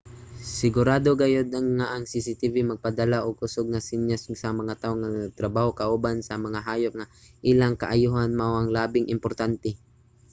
"sigurado gayud nga ang cctv magpadala og kusug nga senyas sa mga tawo nga nagtrabaho kauban sa mga hayop nga ang ilang kaayohan mao ang labing importante.